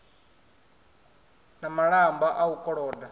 na malamba a u koloda